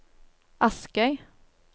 Askøy